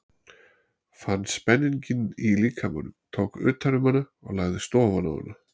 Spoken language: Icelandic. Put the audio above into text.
Fann spenninginn í líkamanum, tók utan um hana og lagðist ofan á hana.